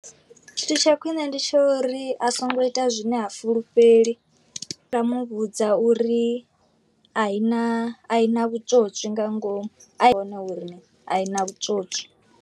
Tshithu tsha khwine ndi tsho uri a songo ita zwine ha fulufheli, nda muvhudza uri a i na a i na vhutswotswi nga ngomu i hone uri a i na vhutswotswi.